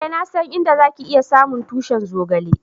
Eh, na san inda za ki iya samu tushi'n zogale.